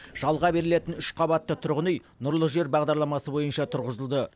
жалға берілетін үш қабатты тұрғын үй нұрлы жер бағдарламасы бойынша тұрғызылды